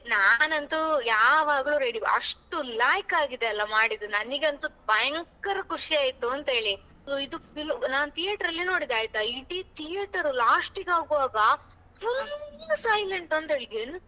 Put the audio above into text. ನಾನಂತು ಯಾವಾಗ್ಲೂ ready ಅಷ್ಟು ಲಾಯಕ್ಕಾಗಿದೆ ಅಲ ಮಾಡಿದ್ದು ನನೆಗಂತು ಭಯಂಕರ ಖುಷಿ ಆಯ್ತು ಅಂತೆಳಿ ಇದು film ನಾನು theater ಅಲ್ಲಿ ನೋಡಿದ್ದು ಆಯ್ತಾ ಇಡೀ theater last ಗೆ ಆಗುವಾಗ. full silent ಅಂತೇಳಿ,